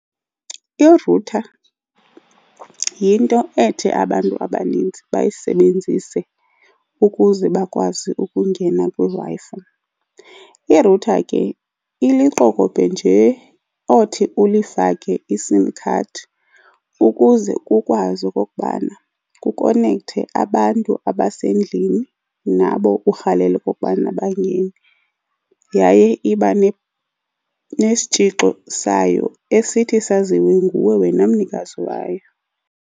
Irutha yinto ethi abantu abaninzi bayisebenzise ukuze bakwazi ukungena kwiWi-Fi. Irutha ke iliqokobhe nje othi ulifake iSIM card ukuze kukwazi okokubana kukonekthe abantu abasendlini nabo urhalela okokubana bangene, yaye iba nesitshixo sayo esithi saziwe nguwe wena mnikazi wayo.